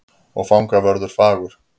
Og fangavörður fagur.